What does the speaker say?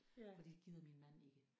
Fordi det gider min mand ikke